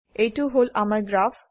এইটো হল আমাৰ গ্ৰাফ